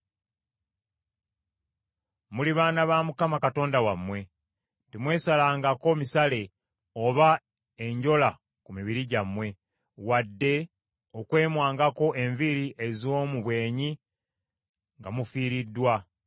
Muli baana ba Mukama Katonda wammwe. Temwesalangako misale oba enjola ku mibiri gyammwe, wadde okwemwangako enviiri ez’omu bwenyi nga mufiiriddwa ,